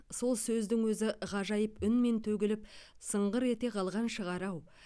сол сөздің өзі ғажайып үнмен төгіліп сыңғыр ете қалған шығар ау